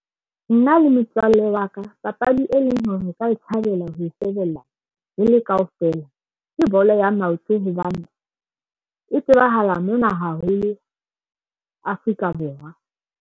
Nna le motswallle wa ka papadi e leng hore o ka e thabela ho shebella re le kaofela. Ke bolo ya maoto hobane e tsebahala mona haholo Afrika Borwa.